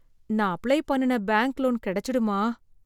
நான் அப்ளை பண்ணுன bank loan கிடைச்சிடுமா ?